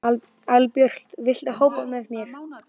Albjört, viltu hoppa með mér?